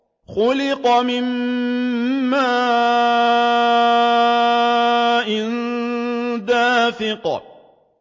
خُلِقَ مِن مَّاءٍ دَافِقٍ